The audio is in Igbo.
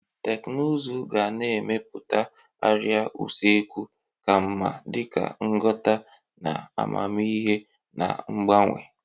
Teknụzụ ga na-emepụta arịa usekwu ka mma dịka nghọta na amamihe na-agbawanye.